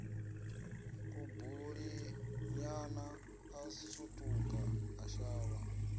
kubulinyana a sutuka a shavha